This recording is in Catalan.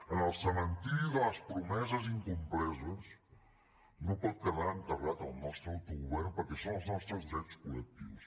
en el cementiri de les promeses incomplertes no pot quedar enterrat el nostre auto govern perquè són els nostres drets col·lectius